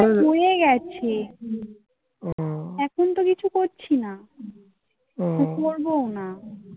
পড়ে গেছে. হুম. এখন তো কিছু করছি না হ্যাঁ পড়বোও না.